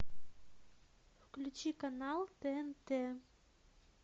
включи канал тнт